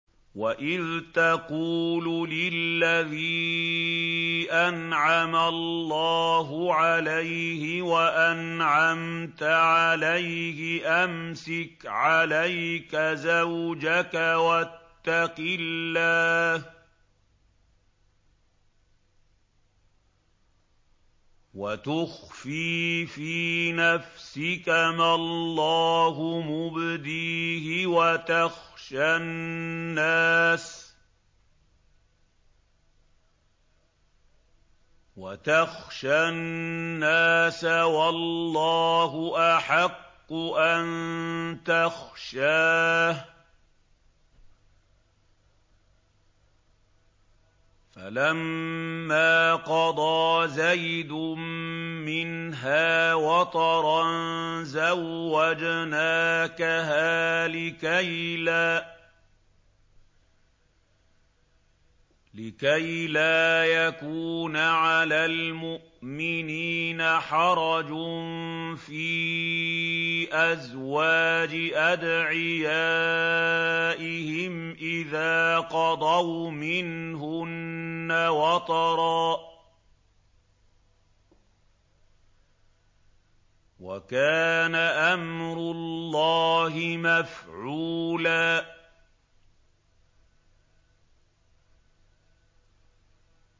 وَإِذْ تَقُولُ لِلَّذِي أَنْعَمَ اللَّهُ عَلَيْهِ وَأَنْعَمْتَ عَلَيْهِ أَمْسِكْ عَلَيْكَ زَوْجَكَ وَاتَّقِ اللَّهَ وَتُخْفِي فِي نَفْسِكَ مَا اللَّهُ مُبْدِيهِ وَتَخْشَى النَّاسَ وَاللَّهُ أَحَقُّ أَن تَخْشَاهُ ۖ فَلَمَّا قَضَىٰ زَيْدٌ مِّنْهَا وَطَرًا زَوَّجْنَاكَهَا لِكَيْ لَا يَكُونَ عَلَى الْمُؤْمِنِينَ حَرَجٌ فِي أَزْوَاجِ أَدْعِيَائِهِمْ إِذَا قَضَوْا مِنْهُنَّ وَطَرًا ۚ وَكَانَ أَمْرُ اللَّهِ مَفْعُولًا